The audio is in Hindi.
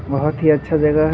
बहुत ही अच्छा जगह ---